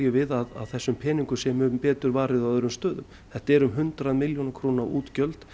við að þessum peningum sé mun betur varið á öðrum stöðum þetta eru hundrað milljóna króna útgjöld